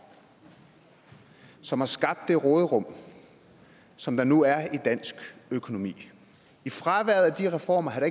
som har skabt det råderum som der nu er i dansk økonomi i fraværet af de reformer havde